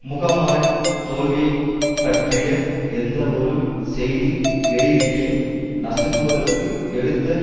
முகமாலை தோல்வியைப் பற்றிய எந்தவொரு செய்தி வெளியீட்டையும் நசுக்குவதற்கு எடுத்த